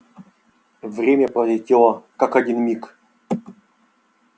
время пролетело как один миг